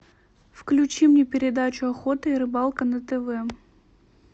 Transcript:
включи мне передачу охота и рыбалка на тв